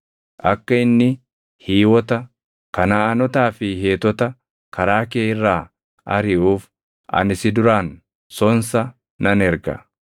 Akka inni Hiiwota, Kanaʼaanotaa fi Heetota karaa kee irraa ariʼuuf ani si duraan sonsa nan erga.